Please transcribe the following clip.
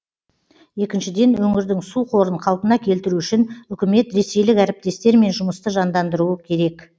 екіншіден өңірдің су қорын қалпына келтіру үшін үкімет ресейлік әріптестермен жұмысты жандандыруы керек